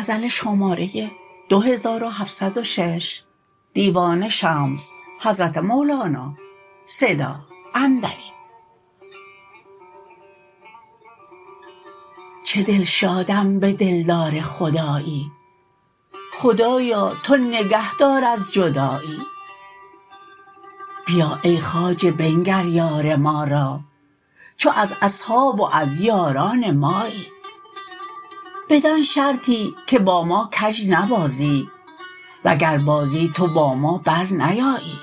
چه دلشادم به دلدار خدایی خدایا تو نگهدار از جدایی بیا ای خواجه بنگر یار ما را چو از اصحاب و از یاران مایی بدان شرطی که با ما کژ نبازی وگر بازی تو با ما برنیایی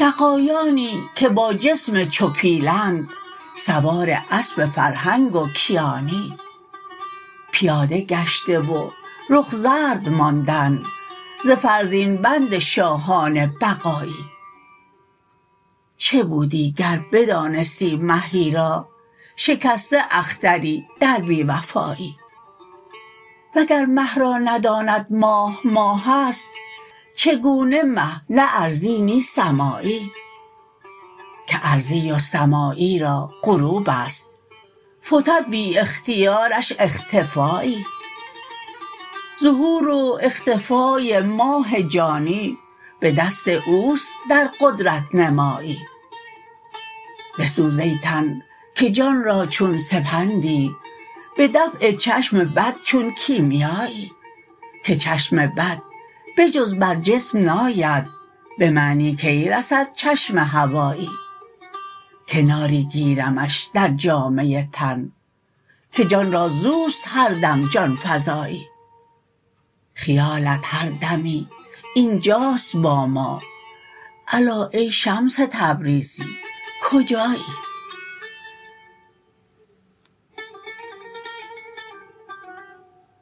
دغایانی که با جسم چو پیلند سوار اسب فرهنگ و کیانی پیاده گشته و رخ زرد ماندند ز فرزین بند شاهان بقایی چه بودی گر بدانستی مهی را شکسته اختری در بی وفایی وگر مه را نداند ماه ماه است چگونه مه نه ارضی نی سمایی که ارضی و سمایی را غروب است فتد بی اختیارش اختفایی ظهور و اختفای ماه جانی به دست او است در قدرت نمایی بسوز ای تن که جان را چون سپندی به دفع چشم بد چون کیمیایی که چشم بد به جز بر جسم ناید به معنی کی رسد چشم هوایی کناری گیرمش در جامه تن که جان را زو است هر دم جان فزایی خیالت هر دمی این جاست با ما الا ای شمس تبریزی کجایی